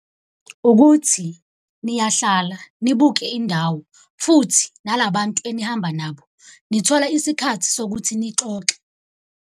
Ukuthi niyahlala nibuke indawo futhi nalabantu enihamba nabo, nithola isikhathi sokuthi nixoxe.